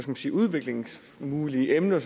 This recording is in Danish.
man sige udviklingsmuligheder og emner